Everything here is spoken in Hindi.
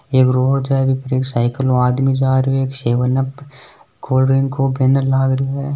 एक रोड है बि पर एक साइकिल ऊ आदमी जा रयो है एक सेवन अप कोल्डड्रिंक को बैनर लाग री है।